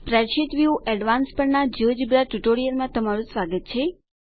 spreadsheet view advance પરના આ GeoGebra tutorial માં તમારું સ્વાગત છે